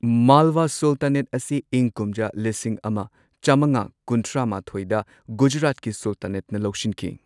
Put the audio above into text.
Malwa sultanate ꯑꯁꯤ ꯏꯪ ꯀꯨꯝꯖꯥ ꯂꯤꯁꯤꯡ ꯑꯃ ꯆꯝꯉꯥ ꯀꯨꯟꯊ꯭ꯔꯥ ꯃꯥꯊꯣꯏꯗ ꯒꯨꯖꯔꯥꯠꯀꯤ ꯁꯨꯜꯇꯥꯅꯦꯠꯅ ꯂꯧꯁꯤꯟꯈꯤ꯫